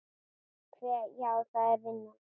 Hve. já, það er vinnan.